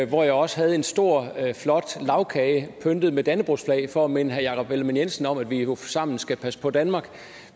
hvor jeg også havde en stor flot lagkage pyntet med dannebrogsflag for at minde jakob ellemann jensen om at vi jo sammen skal passe på danmark